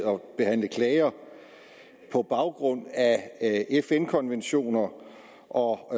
og behandle klager på baggrund af fn konventioner og